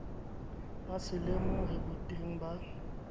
ba se lemohe boteng ba